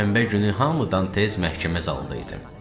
Şənbə günü hamıdan tez məhkəmə zalında idim.